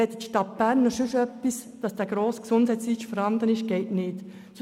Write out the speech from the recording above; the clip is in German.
Zudem haben wir ein anderes Gesundheitsgesetz.